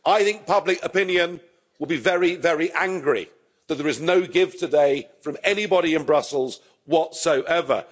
I think public opinion will be very, very angry that there is no give today from anybody in Brussels whatsoever.